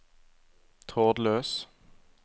trådløs